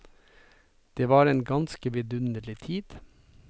Det var en ganske vidunderlig tid.